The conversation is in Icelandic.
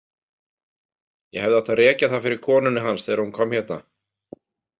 Ég hefði átt að rekja það fyrir konunni hans þegar hún kom hérna.